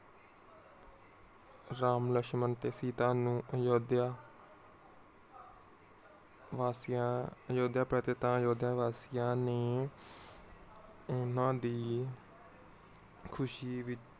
ਰਾਮ, ਲਸ਼ਮਣ ਤੇ ਸੀਤਾ ਨੂੰ ਅਯੋਧਯਾ ਵਾਸੀਆਂ ਅਯੋਧਿਆ ਪ੍ਰਤਿਤਾ ਅਯੋਧਿਆ ਵਾਸੀਆਂ ਨੇ ਓਹਨਾ ਦੀ ਖੁਸ਼ੀ ਵਿਚ